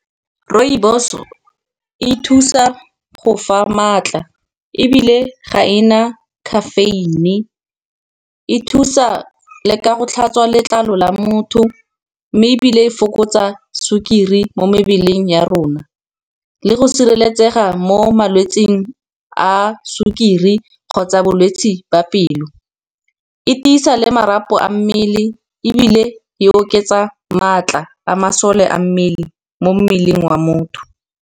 Rooibos-o e thusa go fa maatla ebile ga e na caffeine. E thusa ka go tlhatswa letlalo la motho mme ebile e fokotsa sukiri mo mebeleng ya rona. Le go sireletsega mo malwetsing a sukiri kgotsa bolwetsi ba pelo, e tisa le marapo a mmele, ebile e oketsa maatla a masole a mmele mo mmeleng wa motho.